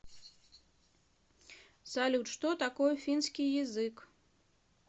салют что такое финский язык